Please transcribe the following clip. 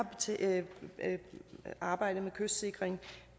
arbejdet med kystsikring